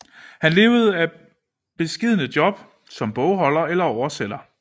Han levede af beskedne job som bogholder eller oversætter